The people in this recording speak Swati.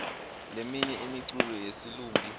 leminye imiculo yesilumbi